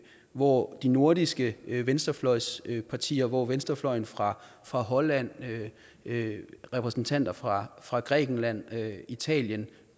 hvor de nordiske venstrefløjspartier hvor venstrefløjen fra fra holland repræsentanter fra fra grækenland italien